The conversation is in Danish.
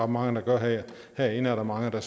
mange der gør herinde er der mange der